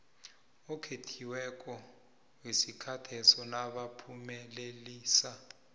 okhethiweko wesikhatheso nabaphumelelisa